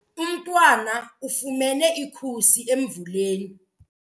Umntwana ufumene ikhusi emvuleni.